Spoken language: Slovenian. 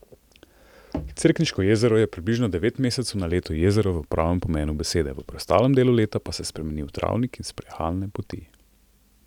Cerkniško jezero je približno devet mesecev na leto jezero v pravem pomenu besede, v preostalem delu leta pa se spremeni v travnik in sprehajalne poti.